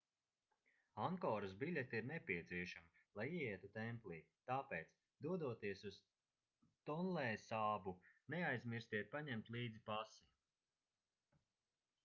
ankoras biļete ir nepieciešama lai ieietu templī tāpēc dodoties uz tonlēsābu neaizmirstiet paņemt līdzi pasi